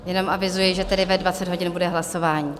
Jenom avizuji, že tedy ve 20 hodin bude hlasování.